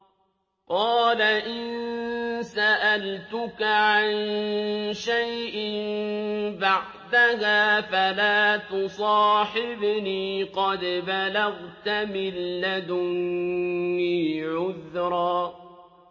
قَالَ إِن سَأَلْتُكَ عَن شَيْءٍ بَعْدَهَا فَلَا تُصَاحِبْنِي ۖ قَدْ بَلَغْتَ مِن لَّدُنِّي عُذْرًا